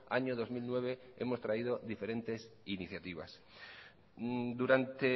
año dos mil nueve hemos traído diferentes iniciativas durante